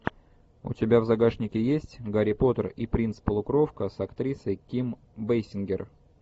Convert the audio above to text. у тебя в загашнике есть гарри поттер и принц полукровка с актрисой ким бейсингер